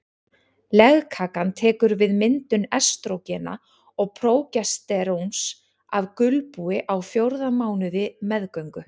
Legkakan tekur við myndun estrógena og prógesteróns af gulbúi á fjórða mánuði meðgöngu.